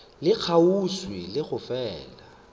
le kgauswi le go fela